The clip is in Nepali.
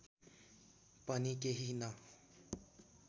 पनि केही न